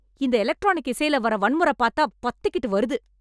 இந்த எலக்ட்ரானிக் இசைல வர வன்முறை பாத்தா பத்திக்கிட்டு வருது